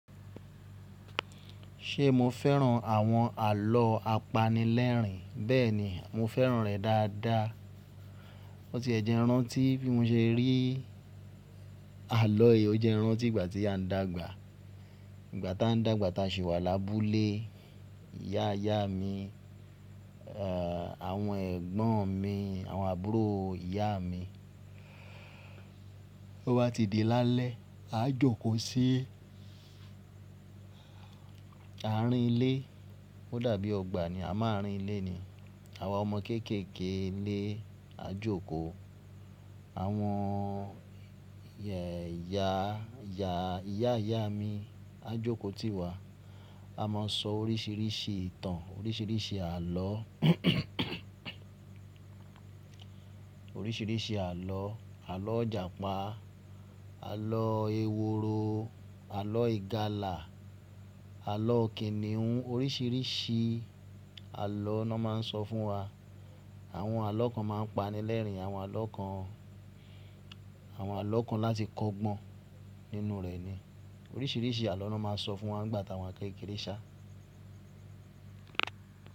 Ṣe mo fẹ́ràn àwọn àlọ́ apanilẹ́rìn? Bẹ́ẹ̀ni, mo fẹ́ràn rẹ dáadáa. O ti e jẹ́ n rantí bí mo ṣe rí àlọ. O jẹ́ n rantí ìgbà tí a ń dàgbà. Ìgbà ta ń dàgbà, ta ṣi wa lábúlé, ìyá ìyá mi, ẹ̀, àwọn ẹ̀gbọ́n mi, àwọn àbúrò ìyá mi. O bá ti di lálẹ́, a jókòó sí àárín ilé. O dàbí ọgbà ni, a mo arín ilé ni. Àwa ọmọ kéeké ilé a jókòó. Àwọn ìyá ìyá mi a jókòó tí wà. A máa sọ oríṣiríṣi ìtàn, oríṣiríṣi àlọ́ oríṣiríṣi àlọ́. Àlọ́ ijàpá, àlọ́ eworo, àlọ́ ìgàlà, àlọ́ kìnìún. Oríṣiríṣi àlọ́ ni wọ́n máa ń sọ fún wa. Àwọn àlọ́ kan máa ń paní lẹ́rìn, àwọn àlọ́ kan, àwọn àlọ́ kan láti kọ́gbọ́n nínú rẹ̀ ni. Oríṣiríṣi àlọ́ ni wọ́n máa ń sọ fún wa nígbà ta wa n kékeré sá.